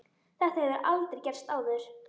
Þetta hefur aldrei gerst áður.